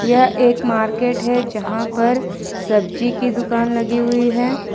यह एक मार्केट है जहां पर सब्जी की दुकान लगी हुई है।